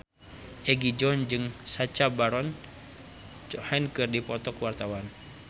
Egi John jeung Sacha Baron Cohen keur dipoto ku wartawan